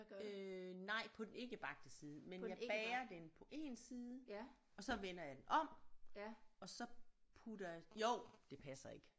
Øh nej på den ikke bagte side men jeg bager den på én side og så vender jeg den om og så putter jeg jo det passer ikke